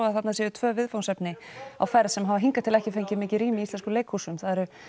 að þarna séu tvö viðfangsefni á ferð sem hafa hingað til ekki fengið mikið rými í íslenskum leikúsum það eru